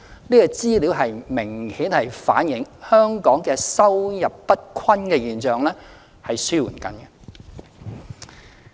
這項資料明顯反映，香港收入不均的現象正在紓緩。